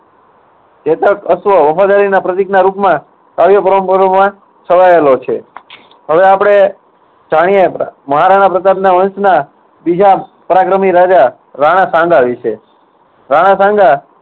ચેતક અશ્વ વફાદારીના પ્રતીકના રૂપમાં માં છવાયેલો છે. હવે આપણે જાણીએ મહારાણા પ્રતાપના વંશના બીજા પરાક્રમી રાજા રાણા સાંઘા વિશે. રાણા સાંઘા